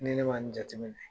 Ni ne ma nin jate minɛ,